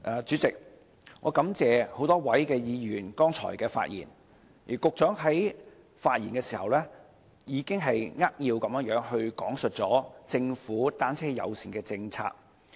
主席，我感謝多位議員剛才的發言，而局長在發言的時候，已扼要講述政府的單車友善政策。